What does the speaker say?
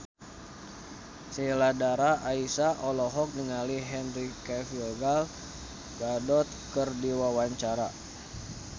Sheila Dara Aisha olohok ningali Henry Cavill Gal Gadot keur diwawancara